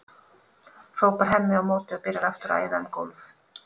hrópar Hemmi á móti og byrjar aftur að æða um gólf.